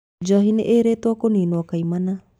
Njohi nĩĩrĩtwo kũninwo kaimana